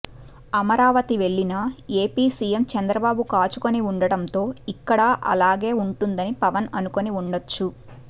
అమరావతి వెళ్లినా AP CM Chandrababu కాచుకుని ఉండటంతో ఇక్కడా అలాగే ఉంటుందని పవన్ అనుకుని ఉండొచ్చు